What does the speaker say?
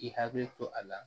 K'i hakili to a la